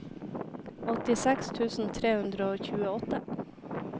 åttiseks tusen tre hundre og tjueåtte